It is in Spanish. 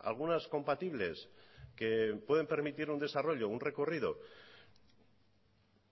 algunas compatibles que pueden permitir un desarrollo un recorrido